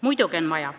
Muidugi on vaja.